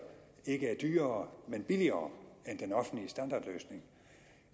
ikke er dyrere men billigere end den offentlige standardløsning